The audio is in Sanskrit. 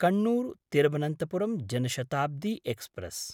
कन्नूर्–तिरुवनन्तपुरं जन शताब्दी एक्स्प्रेस्